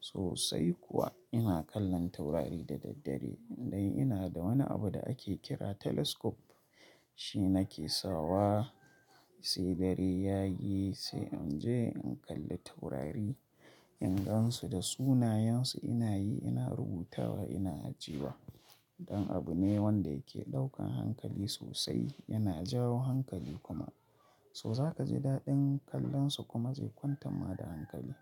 Sosai kuwa ina kallon taurari da daddare, indai ina da wani abu da ake kira telescope, shi nake sawa sai dare ya yi sai in je in kalli taurari, in gan su da sunayensu ina yi ina rubutawa ina ajiye. Dan abu ne wanda yake ɗaukan hankali sosai, yana jawo hankali kuma, so za ka ji daɗin kallon su kuma zai kwantar ma da hankali.